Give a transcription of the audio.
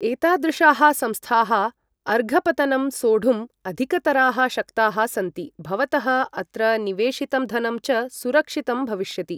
एतादृशाः संस्थाः अर्घपतनं सोढुं अधिकतराः शक्ताः सन्ति, भवतः अत्र निवेशितं धनं च सुरक्षितं भविष्यति।